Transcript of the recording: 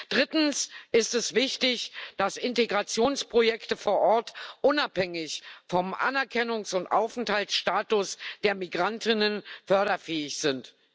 Drittens ist es wichtig, dass Integrationsprojekte vor Ort unabhängig vom Anerkennungs und Aufenthaltsstatus der Migrantinnen förderfähig sind.